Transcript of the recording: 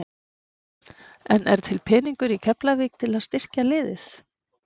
En er til peningur í Keflavík til að styrkja liðið?